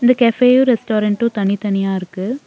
இங்க கஃபேயு ரெஸ்டாரண்டும் தனித்தனியா இருக்கு.